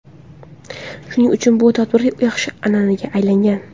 Shuning uchun bu tadbir yaxshi an’anaga aylangan.